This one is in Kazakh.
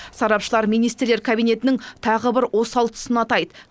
сарапшылар министрлер кабинетінің тағы бір осал тұсын атайды